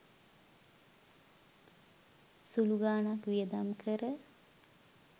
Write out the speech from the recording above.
සුළු ගානක් වියදම් කර